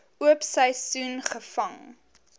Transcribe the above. oop seisoen gevang